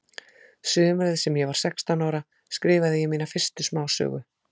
Sumarið sem ég var sextán ára skrifaði ég mína fyrstu smásögu.